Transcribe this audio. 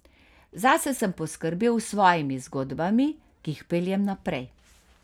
Zase sem poskrbel s svojimi zgodbami, ki jih peljem naprej.